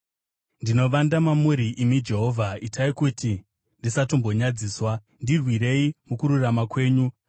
Ndinovanda mamuri, imi Jehovha; itai kuti ndisatombonyadziswa; ndirwirei mukururama kwenyu.